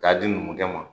K'a di numukɛ ma